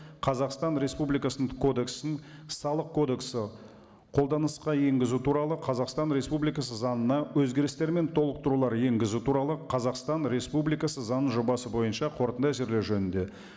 қазақстан республикасының кодексін салық кодексі қолданысқа енгізу туралы қазақстан республикасы заңына өзгерістер мен толықтырулар енгізу туралы қазақстан республикасы заң жобасы бойынша қорытынды әзірлеу жөнінде